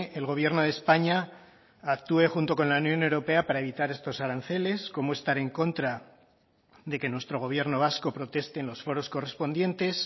el gobierno de españa actué junto con la unión europea para evitar estos aranceles cómo estar en contra de que nuestro gobierno vasco proteste en los foros correspondientes